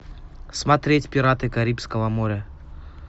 смотреть пираты карибского моря